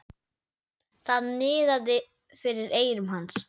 Það niðaði fyrir eyrum hans.